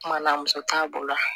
Kuma la muso t'a bolo